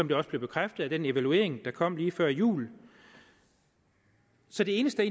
blev bekræftet af den evaluering der kom lige før jul så det eneste